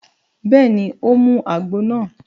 Bẹ́ẹ̀ni, ó mu àgbo náà